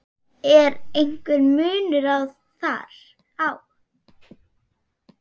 Er einhver munur þar á?